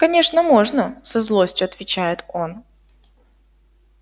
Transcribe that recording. конечно можно со злостью отвечает он